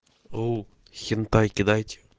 оу хентай кидайте